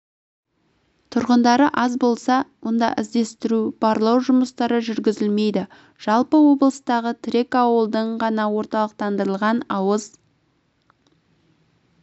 тұрғындары аз болса онда іздестіру барлау жұмыстары жүргізілмейді жалпы облыстағы тірек ауылдың ғана орталықтандырылған ауыз